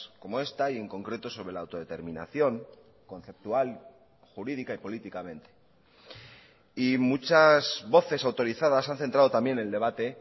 como esta y en concreto sobre la autodeterminación conceptual jurídica y políticamente y muchas voces autorizadas han centrado también el debate